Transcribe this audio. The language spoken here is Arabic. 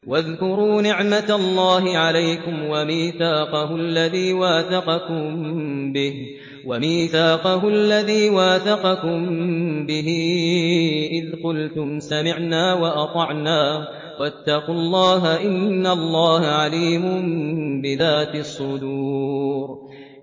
وَاذْكُرُوا نِعْمَةَ اللَّهِ عَلَيْكُمْ وَمِيثَاقَهُ الَّذِي وَاثَقَكُم بِهِ إِذْ قُلْتُمْ سَمِعْنَا وَأَطَعْنَا ۖ وَاتَّقُوا اللَّهَ ۚ إِنَّ اللَّهَ عَلِيمٌ بِذَاتِ الصُّدُورِ